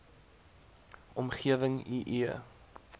omgewing i e